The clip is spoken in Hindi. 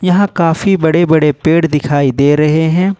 यहां काफी बड़े बड़े पेड़ दिखाई दे रहे हैं।